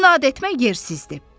İnad etmək yersizdir.